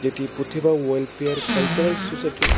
একটি Pratibha welfare cultural সোসাইটির।